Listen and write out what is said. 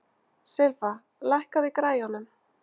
Silfa, lækkaðu í græjunum.